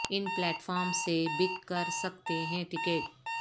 ان platforms سے book کر سکتے ہیں ٹکٹ